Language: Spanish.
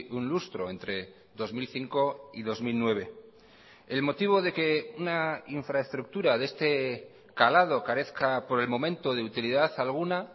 un lustro entre dos mil cinco y dos mil nueve el motivo de que una infraestructura de este calado carezca por el momento de utilidad alguna